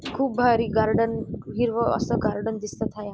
खूप भारी गार्डन हिरव असं गार्डन दिसत हाये.